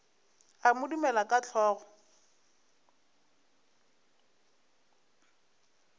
a mo dumela ka hlogo